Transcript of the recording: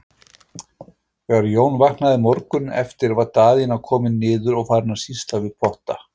Þegar Jón vaknaði morguninn eftir var Daðína komin niður og farin að sýsla við potta.